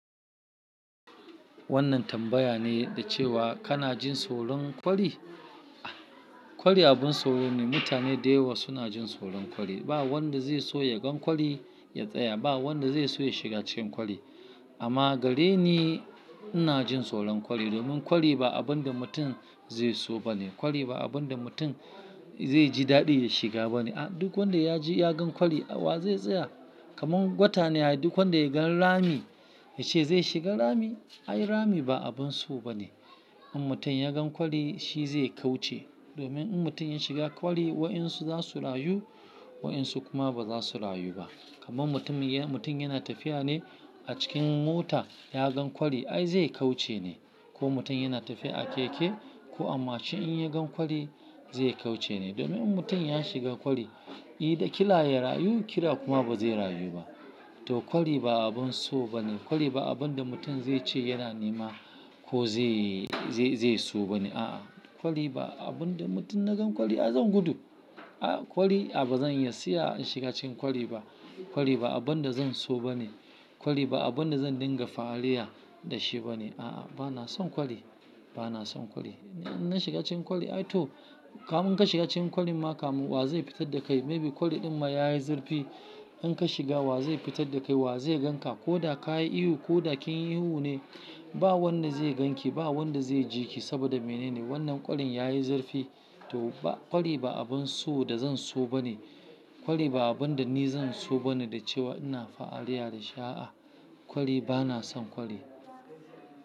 Wannan tambaya ne yadda cewa kana jin tsoron kwari? Kwari abun tsoro ne. Mutane dayawa suna jin tsoron kwari. Ba wanda zai so ya gan kwari ya tsaya. Ba wanda zai so ya shiga cikin kwari. Amma gare ni, ina jin tsoron kwari domin kwari ba abun da mutum zai so ba ne. Kwari ba abun da mutum zai ji daɗi ya shiga ba ne. Duk wanda ya ji ya gan kwari wa zai tsaya. Kaman gwata ne, duk wanda ya gan rami ya ce zai shiga rami? Ai rami ba abun so ba ne. In mutum ya gan kwari shi zai kauce. Domin in mutum ya shiga kwari, waensu za su rayu, waensu kuma ba za su rayu ba. Kaman mutum, mutum yana tafiya ne a cikin mota ya gan kwari. Ai zai kauce ne. Ko mutum yana tafiya a keke ko a mashin in ya gan kwari zai kauce ne. Domin in mutum ya shiga kwari, ida kila ya rayu, kila kuma ba zai rayu ba. To kwari ba abun so ba ne. Kwari ba abun da mutum zai ce yana nema ko zai, zai so ba ne. A'a, kwari ba abun da mutum na gan kwari ai zan gudu. A'a kwari, a'a ba zan iya siya shiga cikin kwari ba. Kwari ba abun da zan so ba ne. Kwari ba abun da zan dinga fahariya da shi ba ne. A'a, bana son kwari, bana son kwari. Na shiga cikin kwari ai toh kamin ka shiga cikin kwari ma kam wa zai fitar da kai? Maybe kwari din ma ya yi zurfi. In ka shiga wa zai fitar da kai? Wa zai gan ka? Ko da ka yi ihu ko da kin yi ihu ne, ba wanda zai gan ki, ba wanda zai ji ki saboda menene wannan kwarin ya yi zurfi. To ba, kwari ba abun so da zan so ba ne. Kwari ba abun da ni zan so ba ne da cewa ina fa'aliya da shi. A'a kwari, bana son kwari.